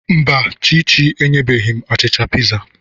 Mba, Chichi enyebeghị m achịcha piza.